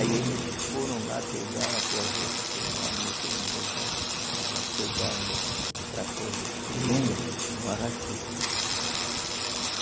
Aí eles foram lá, pegaram a corveta, pegaram, meteram no rebote, chegaram lá, pegaram um um trator desses pequeno, não arrastou.